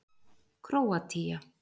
Króatía